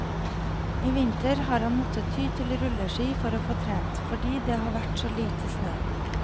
I vinter har han måttet ty til rulleski for å få trent, fordi det har vært så lite snø.